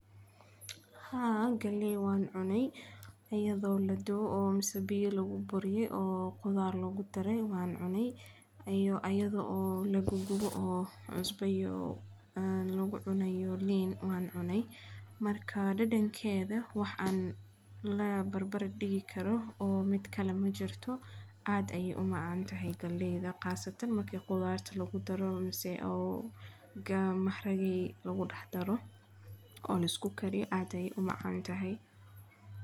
haa galley wan cune ayado la duwe mise biyo lagu buriye o qudar lagu dare wan cune, mise ayado lagu gubay o liin iyo cusbo lagu dare wan cune. marka dhadhankeda wax lala barbar dhigi karo majiro, aad aye u macan tahay. galleyda qas ahan marki qudarta lagu daro mise (maharage) lagu dare o la isku dhax kariyo — aad aye u macan tahay.